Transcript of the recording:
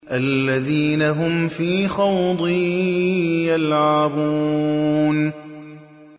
الَّذِينَ هُمْ فِي خَوْضٍ يَلْعَبُونَ